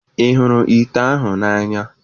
Ị hụrụ ite ahụ n'anya?